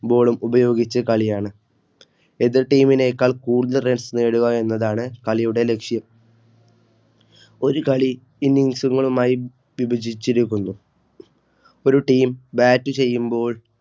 Boll ഉപയോഗിച്ച കളിയാണ്. എതിർ Team നേക്കാൾ കൂടുതൽ Runs നേടുക എന്നതാണ് കളിയുടെ ലക്ഷ്യം. ഒരു കളി Innings മായി വിഭജിച്ചിരിക്കുന്നു ഒരു TeamBat ചെയ്യുമ്പോൾ